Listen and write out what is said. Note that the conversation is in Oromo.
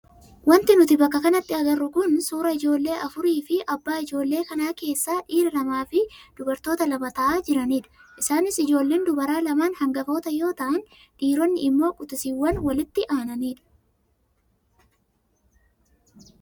Wanti nuti bakka kanatti agarru kun suuraa ijoollee afurii fi abbaa ijoollee kanaa keessaa dhiira lamaa fi dubaroota lama taa'aa jiranidha. Isaanis ijoolleen dubaraa lamaan hangafoota yoo ta'an dhiironni immoo quxisuuwwan walitti aananidha.